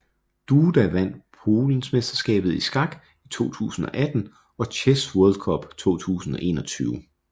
Duda vand Polensmesterskabet i skak i 2018 og Chess World Cup 2021